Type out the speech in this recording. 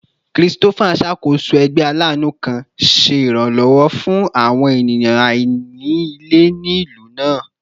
Christopher n ṣakoso ẹgbẹ alaanu kan, ṣe iranlọwọ fun awọn eniyan aini ile ni ilu naa